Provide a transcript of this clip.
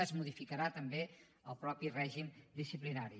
es modificarà també el mateix règim disciplinari